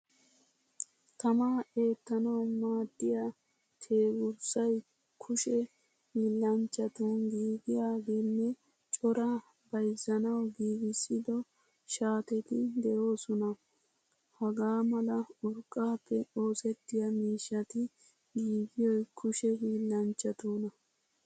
Tamaa ettanawu maaddiyaa teegursay kushe hiillanchchattun giigiagenne cora bayzzanawu giigisido shaateti deosona. Hagaa mala urqqappe oosettiya miishshatti giigiyoy kushe hiillanchatuna.